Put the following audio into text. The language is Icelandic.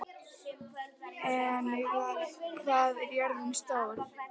Enika, hvað er jörðin stór?